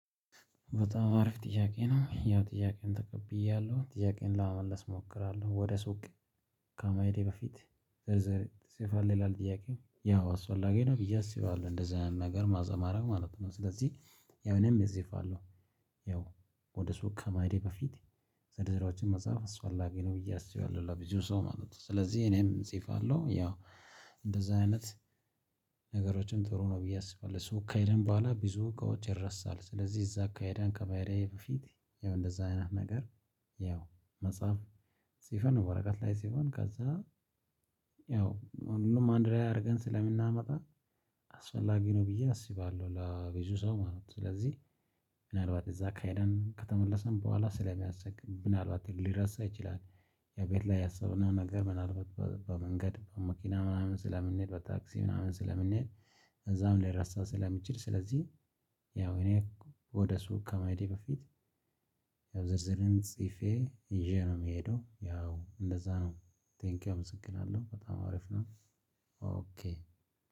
በጣም አሪፍ ጥያቄ ነው? ያው ጥያቄን ተቀብያለሁ ጥያቄን ለመመለስ እሞክራለሁ ወደ ሱቅ ከመሄድህ በፊት ዝርዝር ትጽፋለህ ይላል? ጥያቄው ያው አስፈላጊ ነው ብዬ አስባለሁ እንደዛ ነገር ማዘማረም ማለት ነው ስለዚህ ያው እኔም እጽፋለሁ። ያው ወደ ሱቅ ከመሄዴ በፊት ዝርዝሮቹን መጻፍ አስፈላጊ ነው ብዬ አስባለሁ ለብዙ ሰው ማለት ነው። ስለዚህ እኔም እጽፋለሁ ያው እንደዛ አይነት ነገሮችን ጥሩ ነው ብዬ አስባለሁ። ሱቅ ከሄደም በኋላ ብዙ እቃዎች ይረሳል። ስለዚህ እዛ ከሄድን ከመሄዴ በፊት ያው እንደዛ አይነት ነገር ያው መጻፍ ፅፈን ወረቀት ላይ ፅፈን ከዛ ያው ሁሉንም አንድ ላይ አድርገን ስለምናመጣ አስፈላጊ ነው ብዬ አስባለሁ ለብዙ ሰው ማለት ነው። ስለዚህ ምናልባት እዛ ከሄደን ከተመለስን በኋላ ስለሚያስቸግር ምናልባት ሊረሳ ይችላል። ቤት ላይ ያሰብነው ነገር ምናልባት በመንገድ በመኪና ምናምን ስለምንሄድ በታክሲ ምናምን ስለምንሄድ እዛም ሊረሳ ስለምችል ስለዚህ። ያው እኔ ወደ ሱቅ ከመሄዴ በፊት ያው ዝርዝርን ጽፌ ይዤ ነው የምሄደው ያው እንደዛ ነው። ቴንኪው አመሰግናለሁ በጣም አሪፍ ነው። ኦኬ